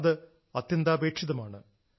അത് അത്യന്താപേക്ഷിതമാണ്